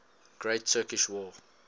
great turkish war